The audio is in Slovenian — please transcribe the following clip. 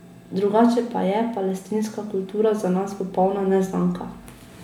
Drugače pa je palestinska kultura za nas popolna neznanka.